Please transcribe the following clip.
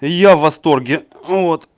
и я в восторге ну вот